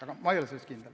Aga ma ei ole selles kindel.